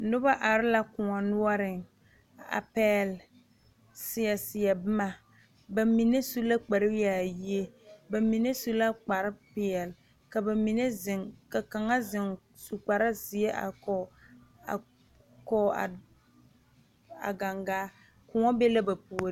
Noba are la kóɔ noɔreŋ a pɛgl seɛ seɛ boma ba mine su la kpar yaayie ba mine su la kpar peɛle ka ba mine zeŋ ka kaŋa zeŋ su kpar zeɛ a vɔgele a koge a a gaŋgaa kóɔ be la ba puoriŋ